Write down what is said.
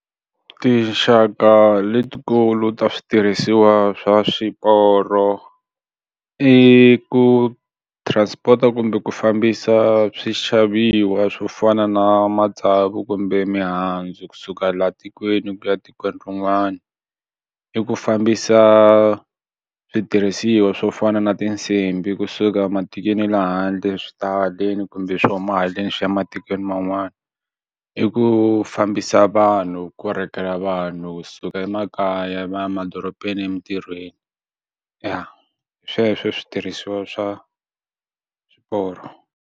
Tinxaka letikulu ta switirhisiwa swa swiporo i ku transport-a kumbe ku fambisa swi xaviwa swo fana na matsavu kumbe mihandzu kunsuka laha tikweni ku ya etikweni rin'wana i ku fambisa switirhisiwa swo fana na tinsimbhi kusuka matikweni ya lehandle swi tahaleni kumbe swi huma haleni swi ya ematikweni man'wana i ku fambisa vanhu korekela vanhu suka emakaya va ya emadorobeni emintirhweni ya hi sweswo switirhisiwa swa swiporo.